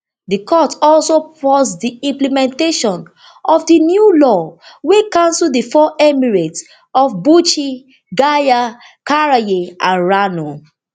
di court also pause di implementation of di new law wey cancel di four emirates of bichi gaya karaye and rano